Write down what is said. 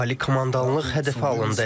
Ali Komandanlıq hədəfə alındı.